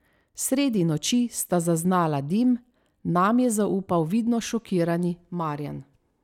Sredi noči sta zaznala dim, nam je zaupal vidno šokirani Marjan.